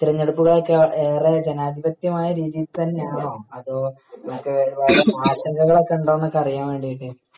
തിരഞ്ഞെടുപ്പുകളൊക്കെ ഏറെ ജനാധിപത്യമായ രീതിയിൽ തന്നെയാണോ അതോ മറ്റേ ആശങ്കകളൊക്കെ ഉണ്ടൊന്നൊക്കെ അറിയാൻവേണ്ടിട്ടായിരുന്നു